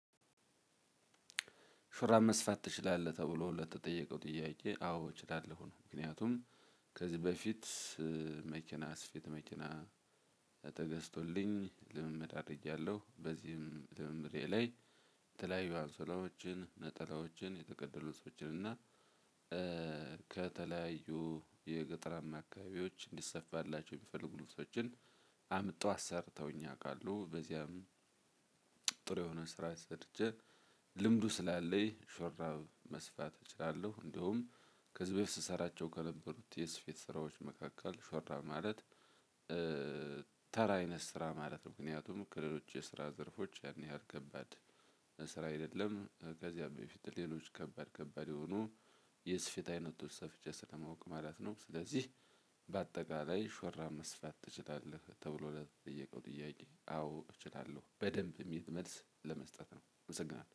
ሹራብ መስፋት ትችላለህ? ተብሎ ለተጠየቀው ጥያቄ አዎ እችላለሁ ነው። ምክንያቱም ከዚህ በፊት መኪና የስፊት መኪና ተገዝቶልኝ ልምምድ አድርጌያለሁ በዚህም ልምምዴ ላይ ትላይ ዮአንሶላዎችን ነጠላዎችን የተገደሉ ሰዎችን እና ከተለያዩ የገጠራማ አካባቢዎች እንዲሰፋላቸው የሚፈልጉ ልብሶችን አምጥተው አሰርተውኝ ያውቃለሁ። በዚያም ጥሩ የሆነ ስራ ሰርቼ ልምዱ ስላለኝ ሹራብ መስፋት እችላለሁ። እንደውም ከዚህ በፊት ስሰራቸው ከነበሩት የስፌት ስራዎች መካከል ሹራብ ማለት ተራ አይነት ስራ ማለት ነው። ምክንያቱም ከለሎችች የስራ ዘርፎች ያን ያህል ከባድ ስራ አይደለም ከዝያ በፊት ሌሎች ከባድ ከባድ የሆኑ የስፌት አይነቶች ሰፍቼ ስለማውቅ ማለት ነው። ስለዚህ በአጠቃላይ ሹራብ መስፋት ትችላለህ ተብሎ ለተጠየቀው ጥያቄ አዎ እችላለሁ በደንብ የሚል መልስ ለመስጠት ነው አመሰግናለሁ።